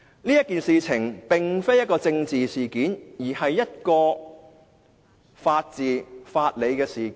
這件事並非政治事件，而是牽涉法治及法理的事件。